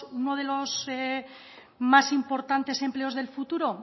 uno de los más importantes empleos del futuro